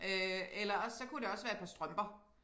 Øh eller også så kunne det også være et par strømper